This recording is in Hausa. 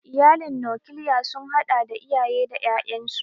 Iyalin nokilya sun hada da iyaye da ƴaƴansu.